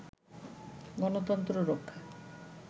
গণতন্ত্র রক্ষা